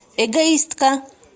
эгоистка